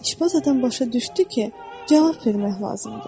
İşbaz adam başa düşdü ki, cavab vermək lazımdır.